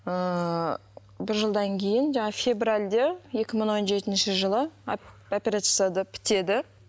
ыыы бір жылдан кейін жаңа февральде екі мың он жетінші жылы операция жасады бітеді